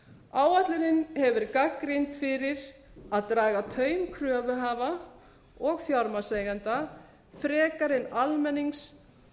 áætlunin hefur verið gagnrýnd fyrir að draga taum kröfuhafa og fjármagnseigenda frekar en almennings